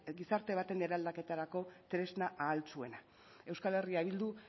gizarte baten eraldaketarako tresna ahaltsuena euskal herria bildu